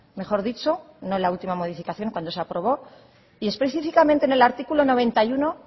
mejor dicho no en la última modificación cuando se aprobó y específicamente en el artículo noventa y uno